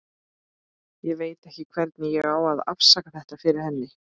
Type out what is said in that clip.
Ég veit ekki hvernig ég á að afsaka þetta fyrir henni.